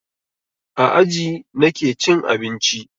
A aji nake cin abinci.